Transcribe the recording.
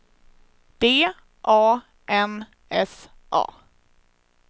D A N S A